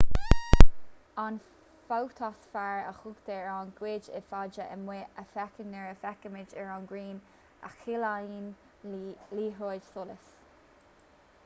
an fótasféar a thugtar ar an gcuid is faide amuigh a fheicimid nuair a fhéachaimid ar an ngrian a chiallaíonn liathróid solais